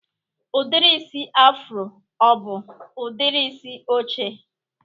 Udiri isi afro ọ bụ udiri isi oche?